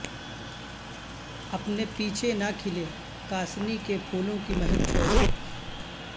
اپنے پیچھےنہ کھلےکاسنی کے پھولوں کی مہک چھوڑ کر